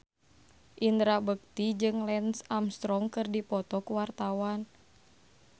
Indra Bekti jeung Lance Armstrong keur dipoto ku wartawan